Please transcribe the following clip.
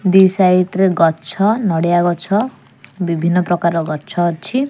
ଦି side ରେ ଗଛ ନଡ଼ିଆ ଗଛ ବିଭିନ୍ନ ପ୍ରକାରର ଗଛ ଅଛି।